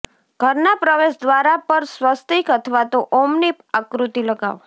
ઘરના પ્રવેશ દ્વાર પર સ્વસ્તિક અથવા તો ઓમની આકૃતિ લગાવો